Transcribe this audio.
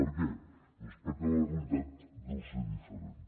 per què doncs perquè la realitat deu ser diferent